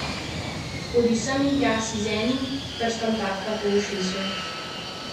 Hodi sem in tja, si z enim prstom tapka po ušesu.